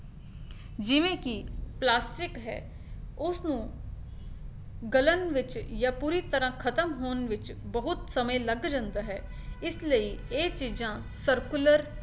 ਜਿਵੇਂ ਕੀ ਪਲਾਸਟਿਕ ਹੈ ਉਸਨੂੰ ਗਲਣ ਵਿੱਚ ਜਾਂ ਪੂਰੀ ਤਰਾਂ ਖਤਮ ਹੋਣ ਵਿੱਚ ਬਹੁਤ ਸਮੇਂ ਲੱਗ ਜਾਂਦਾ ਹੈ ਇਸ ਲਈ ਇਹ ਚੀਜ਼ਾਂ circular